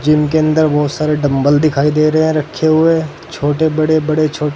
gym के अंदर बहोत सारे डम्बल दिखाई दे रहे है रखे हुए छोटे बड़े बड़े छोटे--